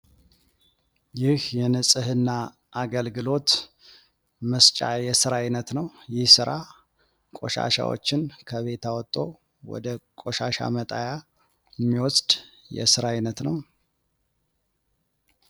ይህ የንጽህና አገልግሎት መስጫ የስራ አይነት ነው። ይህ ስራ ቆሻሻዎችን ከቤት አውቶ ወደ ቆሻሻ መጣያ የሚወስድ የስራ አይነት ነው።